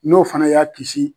N'o fana y'a kisi